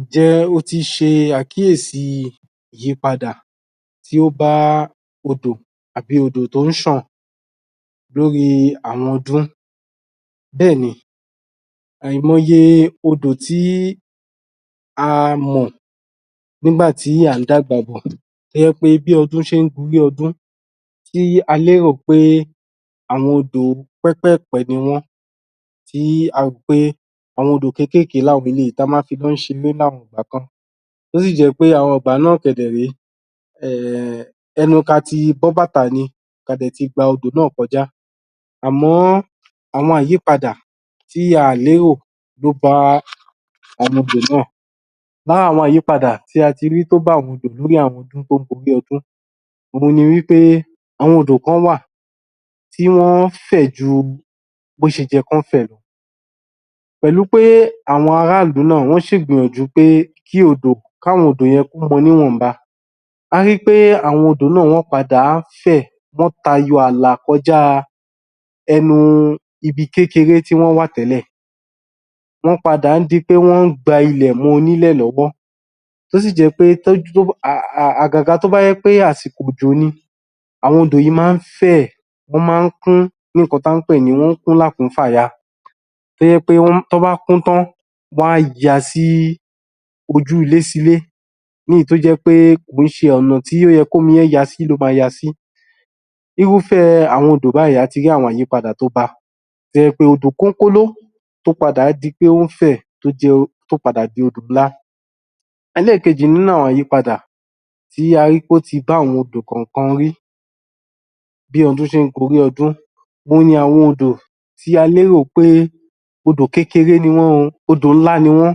Ǹjẹ́ o ti ṣe àkíyèsi àyípadà tí ó ba odò, àbí odò tó ń ṣàn lórí àwọn ọdún, bẹ́ẹ̀ ni Àìmọyè odò tí a mọ̀ nígbà tí à ń dàgbà bọ̀, tó jẹ́ pé bí ọdún ṣe ń gorí ọdún tí a lérò pé àwọn odò pẹ́pẹ̀pẹ́ niwọ́n tí a rò pé àwọn odò kékèké làwọn eléyìí tí a máa ń fi wọ́n ṣe ilé láwọn ìgbà kan tó sì jẹ́ pé àwọn ìgbà náà kẹ̀ dẹ̀ ré eh ẹnu kí a ti bọ́ bàtà ni ka dẹ̀ ti gba odò náá̀ kọjá Àmọ́, àwọn àyípadà tí a ò lérò ló bá àwọn odò náà lára àwọn ìyípadà tí a ti rí tó bá àwọn odò lórí àwọn ọdún tó gorí ọdún òun ni wí pé àwọn odò kan wà tí wọ́n fẹ̀ ju bi wọ́n ṣe yẹ kí wọ́n fẹ̀ lọ pẹ̀lú pé àwọn ara ìlú náà, wọ́n ṣì gbìyànjú pé kí àwọn odò yẹn kí ọ́n mọ níwọ̀nba a ri pé àwọn odò náá̀ wọ́n padà fẹ̀ wọ́n tayọ àlà kọjá ẹnu ibi kékeré tí wọ́n wà tẹ́lẹ̀ wọ́n padà ń di pé wọ́n gba ilẹ̀ mọ́ onílẹ̀ lọ́wọ́ tó sì jẹ́ pé àgàgà tó bá jẹ́ àsìkò òjò ni àwọn odò yìí máa ń fẹ̀, wọ́n máa ń kún ní nǹkan tí à ń pè ní wọ́n kún lákùnfàya tó jẹ́ pé tí wọ́n bá kún tán wọ́n á ya sí ojú ilé sí ilé ní èyí tó jẹ́ pé kì í ṣe ọ̀nà tó yẹ kí omi yẹn ya sí ló máa ya sí irúfẹ́ àwọn odò báyìí a ti rí àwọn àyípadà tó ba tó jẹ́ odò kókóló tó padà di pé ó fẹ̀ tó padà di odò ńlá ẹlẹ́ẹ̀kejì nínú àwọn àyípadà tí a rí ppé ó ti bá àwọn odò kan rí bí ọdún ṣe ń gorí ọdún òun ni àwọn odò tí a lérò pé odò kékeré ni wọ́n o, odò ńlá ni wọ́n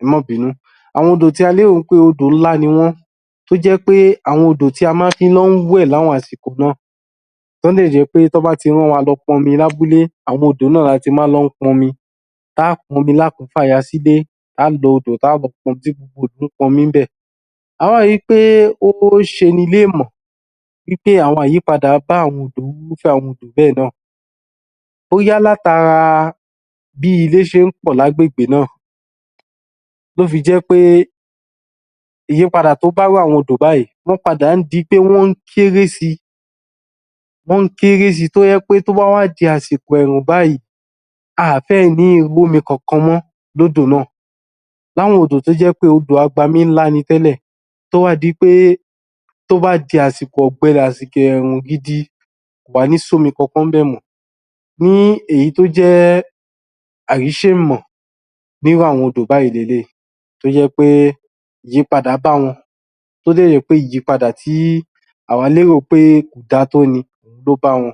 ẹ má bìnú, àwọn odò tí a lérò pé odò ńlá ni wọ́n tó jẹ́ pé àwọn odò tí a máa ti n lọ wẹ̀ látijọ́ ó lè jẹ́ pé tí wọ́n bá ti rán wa lọ pọnmi lábúlé àwọn odò náà la ti máa ń lọ pọnmi tá ó pọnmi lákùnfàya sílé tá ó lọ odò láti pọnmi níbẹ̀ a ó ri pé ó ṣe ni léèmọ̀ wí pé àyípadà dé bá irúfẹ́ àwọn odò náá̀ bóyá láti ara bí ilé ṣe ń pọ̀ lágbègbè náà ló fi jẹ́ pé ìyiípadà t́ bá irú àwọn odò báyìí wọ́n padà ń di pé wọ́n ń kéré si tó jẹ́ pé tó bá wá di àsìkò ẹ̀ẹ̀rùn báyìí a à fẹ̀ lè rí omi kankan mọ́ nínú odò náà láwọn odò tó jẹ́ pé odò agbami ńlá ni tẹ́lẹ̀ tó wá di pé tó bá di àsìkò ọ̀gbẹlẹ̀ àsìkò ẹ̀ẹ̀rùn gidi kò wá ní sí omi kankan níbẹ̀ mọ́ ní èyí tó jé èèmọ̀ bí irú àwọn odò báyìí leléyìí tó jẹ́ pé àyípadà bá wọn bá wọn tó dẹ̀ jẹ́ pé ìyípadà tí àwá lérò pé kò da tó ló bá wọn